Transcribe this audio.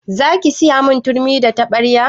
Zaki siyamin turmi da taɓarya?